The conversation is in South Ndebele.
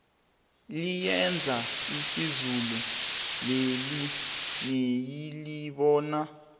liyeza izulu leli niyalibona